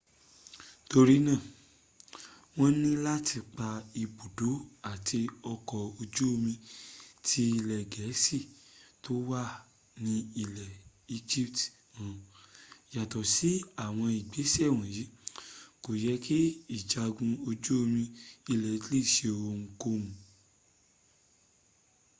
torí náà wọ́n ni láti pa ibùdó àt ọkọ̀ ojú omi tí ilẹ̀ gẹ̀ẹ́sì tó wà ní́ egypt run . yàtọ̀ sí àwọn ìgbésẹ̀ wọ̀nyí kò yẹ́ kí ìjagun ojú omi ilẹ̀ italy seohunkóhun